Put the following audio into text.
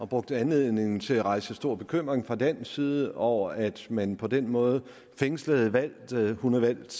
brugte anledningen til at rejse stor bekymring fra dansk side over at man på den måde fængslede valgte hun er valgt